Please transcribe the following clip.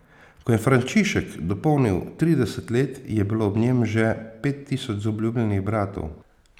Ko je Frančišek dopolnil trideset let, je bilo ob njem že pet tisoč zaobljubljenih bratov.